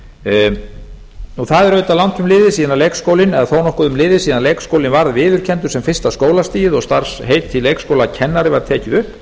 það er auðvitað langt um liðið eða þó nokkuð um liðið síðan leikskólinn var viðurkenndur sem fyrsta skólastigið og starfsheitið leikskólakennari var tekið upp